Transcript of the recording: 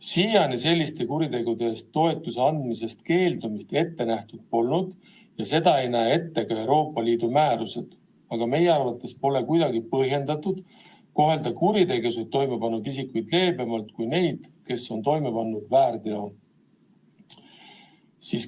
Siiani selliste kuritegude eest toetuse andmisest keeldumist ette nähtud polnud ja seda ei näe ette ka Euroopa Liidu määrused, aga meie arvates pole kuidagi põhjendatud kohelda kuritegusid toime pannud isikuid leebemalt kui neid, kes on toime pannud väärteo.